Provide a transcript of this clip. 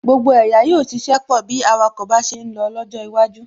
Gbogbo ẹ̀yà yóò ṣiṣẹ́ pọ̀ bí awakọ̀ bá ṣe ń lọ lọ́jọ́ iwájú